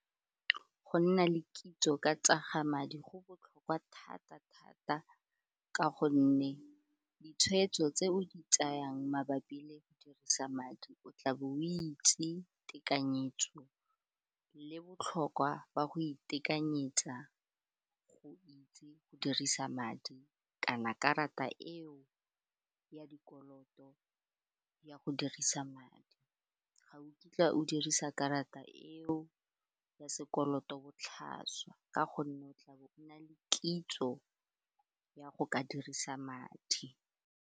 Go nna le kitso ka tsa ga madi go botlhokwa thata-thata ka gonne ditshweetso tse o di tsayang mabapi le go dirisa madi o tlabe o itse tekanyetso le botlhokwa jwa go itekanyetsa go o itse go dirisa madi kana karata eo ya dikoloto ya go dirisa madi ga o kitla o dirisa karata eo ya sekoloto botlhaswa ka gonne o tla bo na le kitso ya go ka dirisa madi.